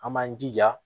An b'an jija